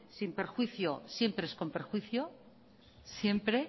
sin perjuicio siempre es con perjuicio siempre